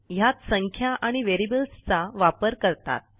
ह्यात संख्या आणि व्हेरिएबल्सचा वापर करतात